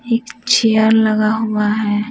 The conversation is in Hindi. एक चेयर लगा हुआ है।